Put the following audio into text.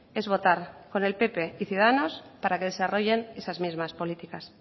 es votar con el pp y ciudadanos los para que desarrollen esas mismas políticas